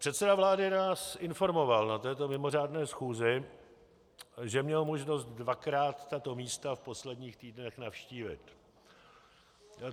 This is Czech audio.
Předseda vlády nás informoval na této mimořádné schůzi, že měl možnost dvakrát tato místa v posledních týdnech navštívit.